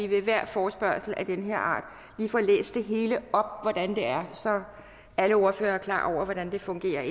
ved hver forespørgsel af den her art lige får læst det hele op om hvordan det er så alle ordførere er klar over hvordan det fungerer